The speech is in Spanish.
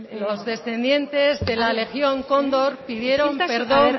los descendientes de la legión cóndor pidieron perdón